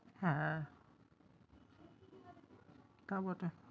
হ্যাঁ তা বটে!